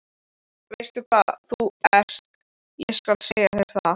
Veistu hvað þú ert, ég skal segja þér það.